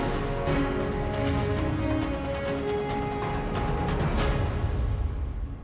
við